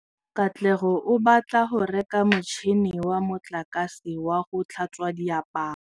Katlego o batla go reka motšhine wa motlakase wa go tlhatswa diaparo.